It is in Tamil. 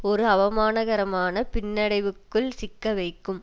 ஒரு அவமானகரமான பின்னடைவுக்குள் சிக்கவைக்கும்